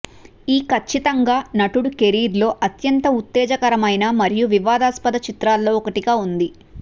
ఈ ఖచ్చితంగా నటుడు కెరీర్లో అత్యంత ఉత్తేజకరమైన మరియు వివాదాస్పద చిత్రాల్లో ఒకటిగా ఉంది